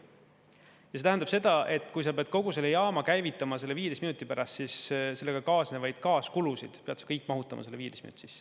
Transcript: Ja see tähendab seda, et kui sa pead kogu selle jaama käivitama 15 minuti pärast, siis sellega kaasnevad kaaskulud pead sa kõik mahutama selle 15 minuti sisse.